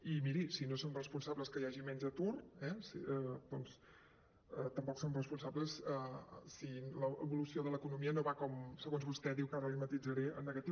i miri si no som responsables que hi hagi menys atur eh doncs tampoc som responsables si l’evolució de l’economia no va com segons vostè diu que ara l’hi matisaré en negatiu